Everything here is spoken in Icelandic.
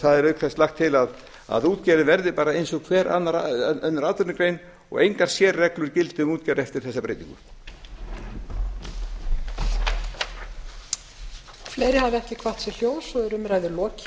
það er auk þess lagt til að útgerðin verði bara eins og hver önnur atvinnugrein og engar sérreglur gildi um útgerð eftir þessa breytingu